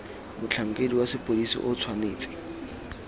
motlhankedi wa sepodisi o tshwanetse